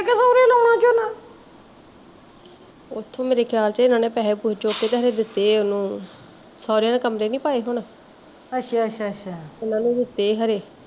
ਓਥੋਂ ਮੇਰੇ ਖਿਆਲ ਚ ਇਹਨਾਂ ਨੇ ਪੈਸੇ ਪੁਸਏ ਚੁੱਕ ਕੇ ਦਿੱਤੇ ਆ ਉਹਨੂੰ, ਸਹੋਰਿਆ ਨੇ ਕਮਰੇ ਨੀ ਪਾਏ ਹੁਣ ਉਹਨਾਂ ਨੂੰ ਦਿੱਤੇ ਆ ਖਰੇ